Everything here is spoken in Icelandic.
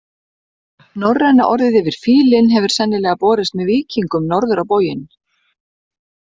Norræna orðið yfir fílinn hefur sennilega borist með víkingum norður á bóginn.